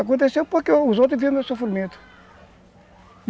Aconteceu porque os outros viram meu sofrimento.